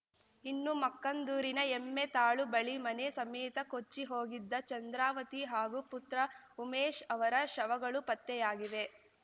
ಇನ್ನು ಮಕ್ಕಂದೂರಿನ ಎಮ್ಮೆತಾಳು ಬಳಿ ಮನೆ ಸಮೇತ ಕೊಚ್ಚಿಹೋಗಿದ್ದ ಚಂದ್ರಾವತಿ ಹಾಗೂ ಪುತ್ರ ಉಮೇಶ್‌ ಅವರ ಶವಗಳೂ ಪತ್ತೆಯಾಗಿವೆ